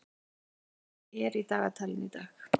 Júnía, hvað er í dagatalinu í dag?